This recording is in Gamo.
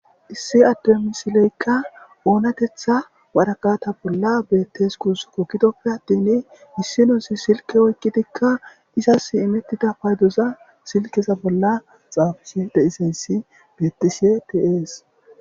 Issi adde misileykka oonatetha waraqata bolla beettes gus kokkidoppe attin missinosi silke oykkidikka izas imettida paydoza silkeza bolla xaafii deisayssi bettise tees.